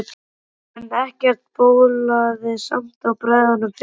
En ekkert bólaði samt á bræðrunum fjórum.